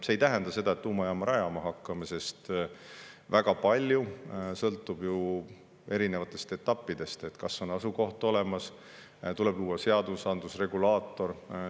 See ei tähenda seda, et me tuumajaama rajama hakkame, sest väga palju sõltub erinevatest etappidest: kas on asukoht olemas, tuleb luua seadusandlus, regulaator.